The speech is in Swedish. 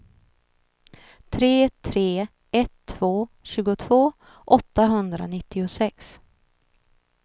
tre tre ett två tjugotvå åttahundranittiosex